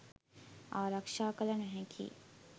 ආරක්‍ෂා කළ නොහැකියි.